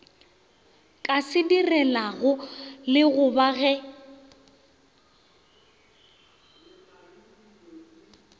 ka se direlago lekgoba ge